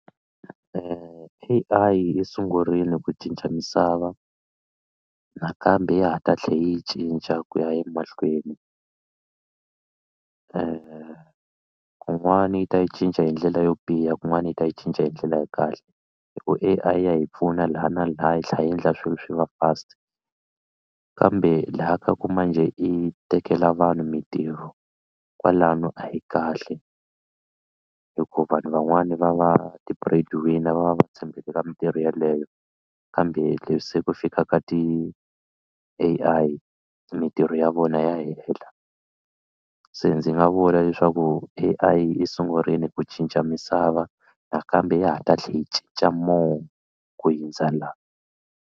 A_I yi sungurile ku cinca misava nakambe ya ha ta tlhe yi cinca ku ya emahlweni kun'wani yi ta yi cinca hi ndlela yo biha kun'wani yi ta yi cinca hi ndlela ya kahle hi ku A_I ya hi pfuna laha na laha yi tlhela yi endla swilo swi va fast kambe laha ka ku manjhe yi tekela vanhu mitirho kwalano a yi kahle hikuva vanhu van'wani va va ti-bread winner va va va tshembele ka mitirho yeleyo kambe leswi se ku fika ka ti-A_I mitirho ya vona ya hela se ndzi nga vula leswaku A_I yi sungurile ku cinca misava nakambe ya ha ta tlhela yi cinca more ku hundza la.